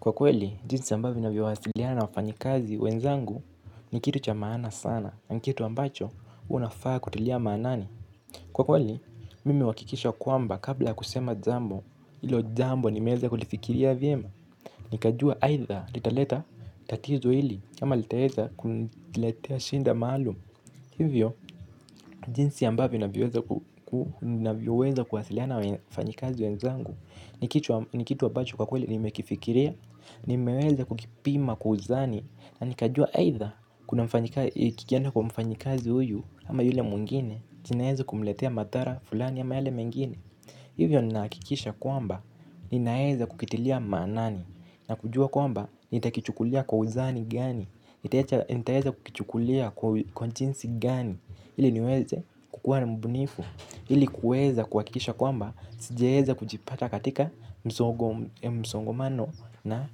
Kwa kweli, jinsi ambavyo navyo wasiliana na wafanyikazi wenzangu ni kitu cha maana sana. Ni kitu ambacho, unafaa kutilia maanani. Kwa kweli, mimi huhakikisha kwamba kabla ya kusema jambo, hilo jambo nimeweza kulifikiria vyema. Nikajua aidha, litaleta tatizo hili, ama litaleta shida maalum. Hivyo, jinsi ambavyo navyoweza kuwasiliana wafanyikazi wenzangu. Ni kitu ambacho kwa kweli nimekifikiria, nimeweza kukipima kwa uzani na nikajua aidha kikienda kwa mfanyikazi huyu ama yule mwingine, kinaweza kumletea madhara fulani ama yale mengine. Hivyo ninahakikisha kwamba ninaeza kukitilia maanani na kujua kwamba nitakichukulia kwa uzani gani, nitaeza kukichukulia kwa jinsi gani, ili niweze kukuwa na mbunifu, ili kuweza kuhakikisha kwamba sijaeza kujipata katika msongomano na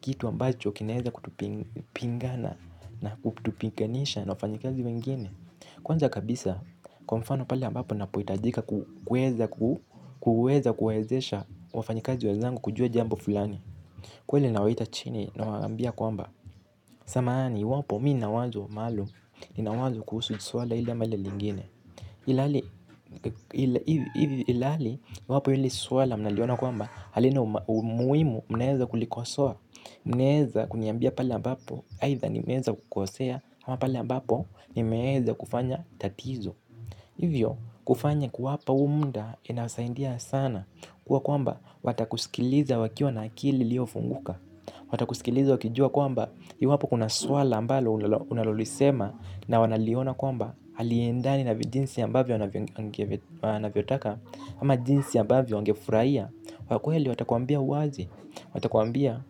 kitu ambacho kinaeza kutupingana na kutupinganisha na wafanyikazi wengine. Kwanza kabisa, kwa mfano pale ambapo napohitajika kuweza kuwawezesha wafanyikazi wenzangu kujua jambo fulani. Kweli nawaita chini nawaambia kwamba samahani, iwapo mi nina wazo maalum, nina wazo kuhusu swala hili ama lile lingine. Ilhali, iwapo hili swala mnaliona kwamba halina umuhimuz mnaweza kulikosoa? Mnaweza kuniambia pale ambapo, aidha nimeweza kukosea, ama pale ambapo nimeeza kufanya tatizo. Hivyo kufanya kuwapa muda inasaidia sana kuwa kwamba watakusikiliza wakiwa na akili iliyofunguka. Watakusikiliza wakijua kwamba iwapo kuna swala ambalo unalolisema na wanaliona kwamba haliendani na jinsi ambavyo wanavyotaka ama jinsi ambavyo wangefurahia, kwa kweli watakuambia wazi. Watakuambia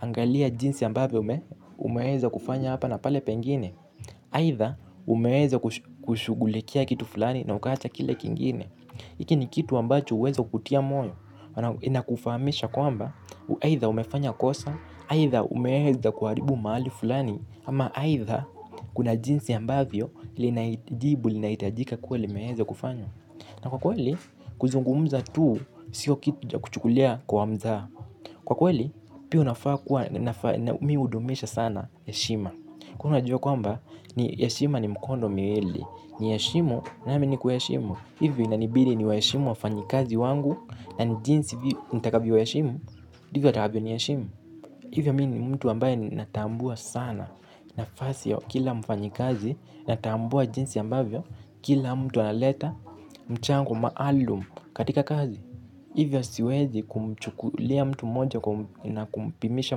angalia jinsi ambavyo umeweza kufanya hapa na pale pengine Aiotha umeweza kushughulikia kitu fulani na ukaacha kile kingine. Hiki ni kitu ambacho huweza kukutia moyo. Inakufahamisha kwamba aidha umefanya kosa, aidha umeweza kuharibu mahali fulani, ama aidha kuna jinsi ambavyo jibu linahitajika kuwa limeweza kufanywa. Na kwa kweli kuzungumza tu, sio kitu cha kuchukulia kwa mzaha. Kwa kweli pia unafaa kuwa mi hudumisha sana heshima. Kwa hiyo najua kwamba ni heshima ni mkono miwili. Niheshimu, nami nikuheshimu. Hivyo inanibidi niwaheshimu wafanyikazi wangu, na jinsi nitakavyo waheshimu ndivyo watakavyo niheshimu. Hivyo mi ni mtu ambaye natambua sana nafasi ya kila mfanyikazi. Natambua jinsi ambavyo kila mtu analeta mchango maalum katika kazi. Hivyo siwezi kumchukulia mtu mmoja na kumpimisha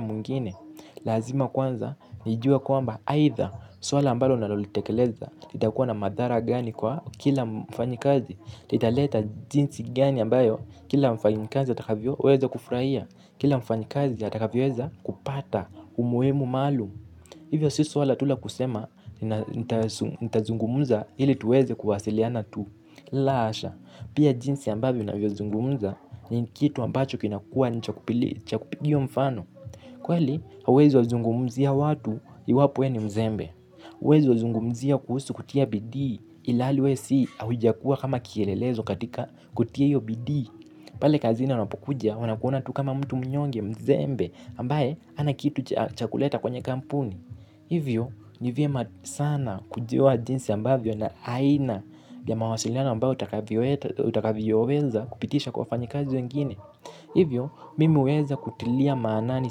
mwingine. Lazima kwanza nijue kwamba aidha swala ambalo nalolitekeleza litakuwa na madhara gani kwa kila mfanyikazi. Litaleta jinsi gani ambayo kila mfanyikazi atakavyoweza kufurahia. Kila mfanyikazi atakavyoweza kupata umuhimu maalum. Hivyo si suala tu la kusema nitazungumza ili tuweze kuwasiliana tu. La hasha, pia jinsi ambavyo navyozungumza ni kitu ambacho kinakuwa ni cha kupigiwa mfano. Kweli, hauwezi wazungumzia watu iwapo we ni mzembe. Huwezi wazungumzia kuhusu kutia bidii ilhali we si haujakuwa kama kielelezo katika kutia hiyo bidii. Pale kazini wanapokuja, wanakuona tu kama mtu mnyonge, mzembe ambaye hana kitu cha kuleta kwenye kampuni. Hivyo, ni vyema sana kujua jinsi ambavyo na aina ya mawasiliano ambayo utakavyoweza kupitisha kwa wafanyikazi wengine. Hivyo, mimi huweza kutilia maanani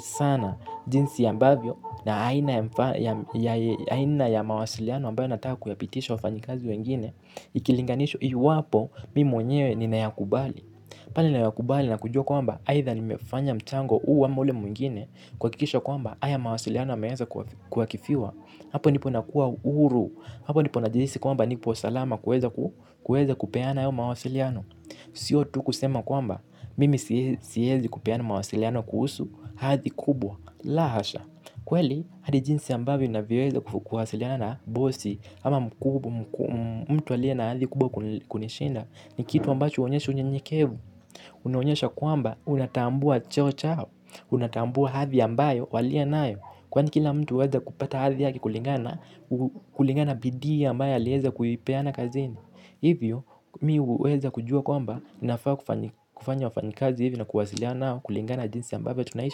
sana jinsi ambavyo na aina ya mawasiliano ambayo nataka kuyapitisha wafanyikazi wengine. Ikilinganishwa iwapo, mimi mwenyewe ninayakubali. Pale ninayakubali na kujua kwamba, aidha nimefanya mchango huu ama ule mwingine, kuhakikisha kwamba, haya mawasiliano yameweza kuakifiwa, hapo ndipo nakuwa huru, hapo ndipo najihisi kwamba nipo salama kuweza kupeana hayo mawasiliano. Sio tu kusema kwamba, mimi siwezi kupeana mawasiliano kuhusu, hadhi kubwa, la hasha. Kweli, hadi jinsi ambavyo ninavyoweza kuwasiliana na bosi ama mtu aliye na hadhi kubwa kunishinda, ni kitu ambacho huonyesha unyenyekevu. Unaonyesha kwamba, unatambua cheo chao. Unatambua hadhi ambayo walionayo. Kwani kila mtu huweza kupata hadhi yake kulingana na kulingana na bidii ambayo aliweza kuipeana kazini. Hivyo mi huweza kujua kwamba ninafaa kufanya wafanyikazi hivi na kuwasiliana nao kulingana jinsi ambavyo tunaishi.